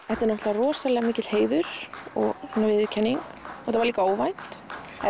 þetta er rosalega mikill heiður og viðurkenning þetta var líka óvænt